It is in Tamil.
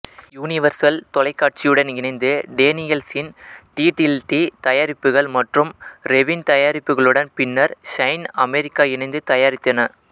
யுனிவர்சல் தொலைக்காட்சியுடன் இணைந்து டேனியல்சின் டீடில்டீ தயாரிப்புகள் மற்றும் ரெவில் தயாரிப்புகளுடன் பின்னர் ஷைன் அமெரிக்கா இணைந்து தயாரித்தன